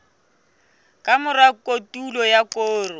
ka mora kotulo ya koro